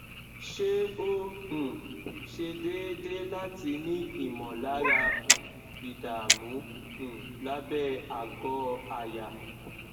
ṣé ó um se deedee láti ní ìmọlára um ìdààmú um lábẹ àgọ àyà